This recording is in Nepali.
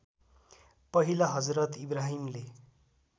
पहिला हजरत इब्राहिमले